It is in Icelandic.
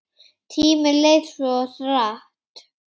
Tíminn leið svo hratt.